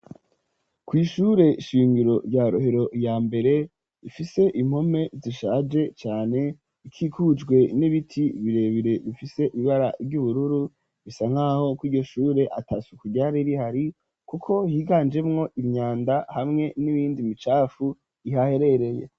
Kw'ishure shingiro rya rohero ya mbere ifise impome zishaje cane ikikujwe n'ibiti birebire bifise ibibara ry'ubururu bisa nk'aho ku'igyo shure ata suku ryari rihari kuko higanjemwo imyanda hamwe n'ibindi micafu ihaherereye.